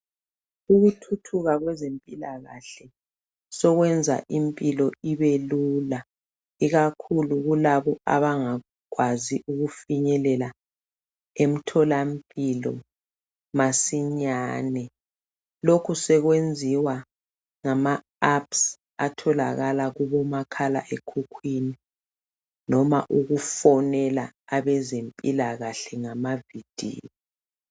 Ukuthuthuka kwezempilakahle sokwenza impilo ibelula ikakhulu kulabo abangakwazi ukufinyelela emtholampilo masinyane. Lokhu sekwenziwa ngamaapps atholakala kubomakhala ekhukhwini loba ukufonela abezempilakahle ngamavidiyo.